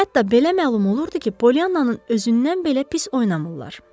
Hətta belə məlum olurdu ki, Poliannanın özündən belə pis oynamırlar.